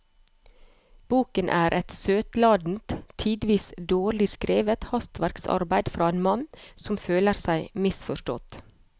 Boken er et søtladent, tidvis dårlig skrevet hastverksarbeid fra en mann som føler seg misforstått.